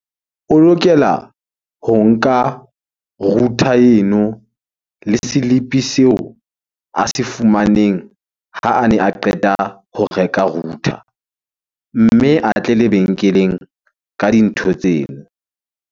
O lokela ho nka router eno le slip-e seo a se fumaneng ha a ne a qeta ho reka router. Mme a tle lebenkeleng ka dintho tseno.